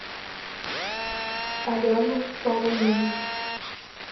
алену полунину